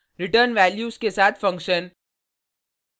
return values के साथ function